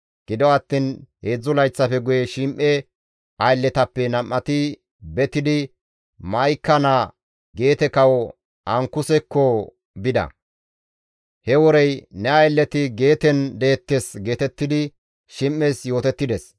Gido attiin heedzdzu layththafe guye Shim7e aylletappe nam7ati betidi Ma7ika naa Geete kawo Ankusekko bida; he worey, «Ne aylleti Geeten deettes» geetettidi Shim7es yootettides.